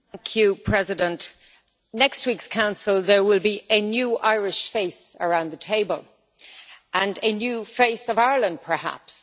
Mr President, at next week's Council there will be a new Irish face around the table and a new face of Ireland, perhaps.